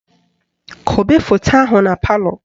Kobe foto ahụ na palọ